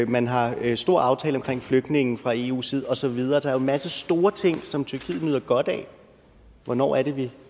man har en stor aftale om flygtninge fra eus side og så videre der en masse store ting som tyrkiet nyder godt af hvornår er det vi